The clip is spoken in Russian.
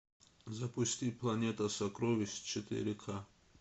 запусти планета сокровищ четыре ка